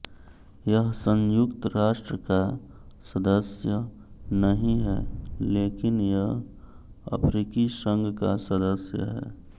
यह संयुक्त राष्ट्र का सदस्य नहीं है लेकिन यह अफ्रीकी संघ का सदस्य है